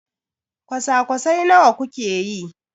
kwasa-kwasai nawa kuke yi?